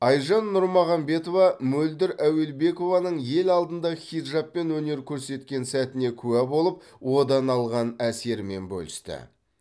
айжан нұрмағамбетова мөлдір әуелебекованың ел алдында хиджабпен өнер көрсеткен сәтіне куә болып одан алған әсерімен бөлісті